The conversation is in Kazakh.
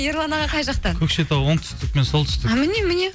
ерлан аға қай жақтан көкшетау оңтүстік пен солтүстік міне міне